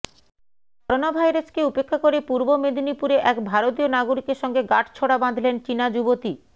corona ভাইরাসকে উপেক্ষা করে পূর্ব মেদিনীপুরে এক ভারতীয় নাগরিকের সঙ্গে গাঁটছড়া বাঁধলেন চিনা যুবতি